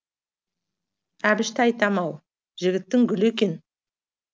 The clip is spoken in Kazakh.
әбішті айтам ау жігіттің гүлі екен